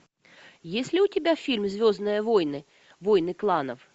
есть ли у тебя фильм звездные войны войны кланов